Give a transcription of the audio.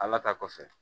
Ala ta kɔfɛ